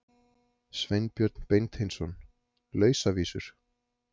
Sveinbjörn Beinteinsson: Lausavísur.